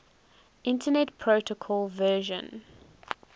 internet protocol version